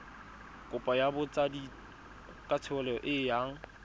kopo ya botsadikatsholo e yang